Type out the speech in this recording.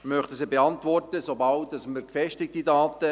Ich möchte sie beantworten, sobald wir gefestigte Daten haben.